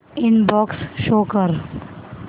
inbox show कर